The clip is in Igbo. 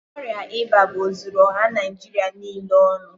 Ọrịa ịba bu ozuru ọha Naijịrị niile ọnụ.